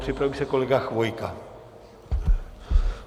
Připraví se kolega Chvojka.